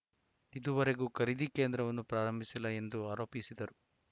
ಇದುವರೆಗೂ ಖರೀದಿ ಕೇಂದ್ರವನ್ನು ಪ್ರಾರಂಭಿಸಿಲ್ಲ ಎಂದು ಆರೋಪಿಸಿದರು